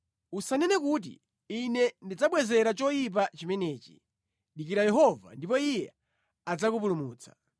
Usanene kuti, “Ine ndidzabwezera choyipa chimenechi!” Dikira Yehova, ndipo Iye adzakupulumutsa.